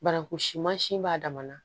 Bananku simansin b'a dan na